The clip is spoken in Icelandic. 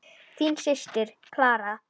Þín systir, Clara.